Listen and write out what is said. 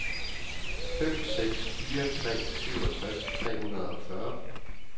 fem seks fire tre syvogtres tre hundrede og fyrre